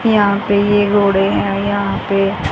यहां पे ये घोड़े है यहां पे--